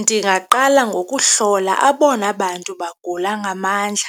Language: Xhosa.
Ndingaqala ngokuhlola abona bantu bagula ngamandla